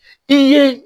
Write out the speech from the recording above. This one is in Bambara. I ye